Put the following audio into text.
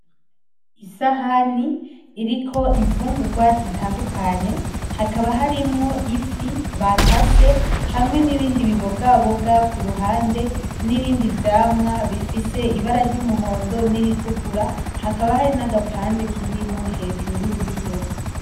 Isahani iriko imfungurwa zitandukanye, hakaba harimwo ifi bakase, hamwe n'ibindi bibogaboga ku ruhande n'ibindi vyamwa bifise ibara ry'umuhondo n'iritukura. Hakaba hari n'agapande k'indimu hejuru y'iyo fi.